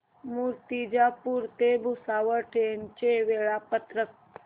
मूर्तिजापूर ते भुसावळ ट्रेन चे वेळापत्रक